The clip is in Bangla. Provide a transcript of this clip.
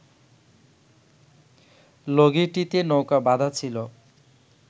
লগিটিতে নৌকা বাঁধা ছিল